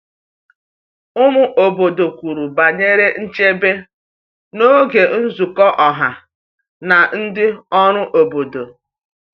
Ụmụ obodo kwuru banyere nchebe n’oge nzukọ ọha na ndị ọrụ obodo.